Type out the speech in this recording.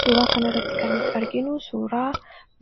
Suuraa kana irratti kan nuti arginu, suuraa